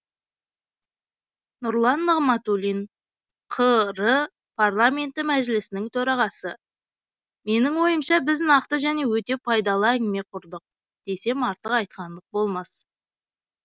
нұрлан нығматулин қр парламенті мәжілісінің төрағасы менің ойымша біз нақты және өте пайдалы әңгіме құрдық десем артық айтқандық болмас